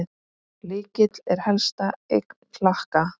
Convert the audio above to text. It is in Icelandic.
Lykill er helsta eign Klakka.